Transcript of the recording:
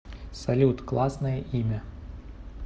салют классное имя